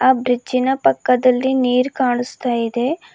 Bridge ನ ಪಕ್ಕದಲ್ಲಿ ನೀರ್ ಕಾಣ್ಸ್ತ ಇದೆ.